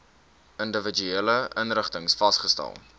individuele inrigtings vasgestel